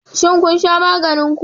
Shin kun sha maganin ku?